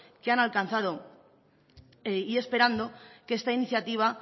que han alcanzado y esperando que esta iniciativa